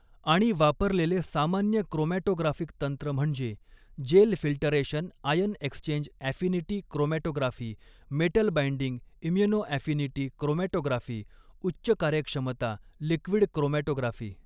आणि वापरलेले सामान्य क्रोमॅटोग्राफिक तंत्र म्हणजे gel filtration ion exchange affinity chromatography metal binding immunoaffinity chromatography उच्च कार्यक्षमता लिक्विड क्रोमॅटोग्राफी.